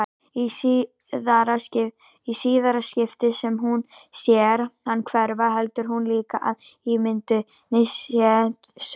Í síðara skiptið sem hún sér hann hverfa heldur hún líka að ímyndunin sé sönn.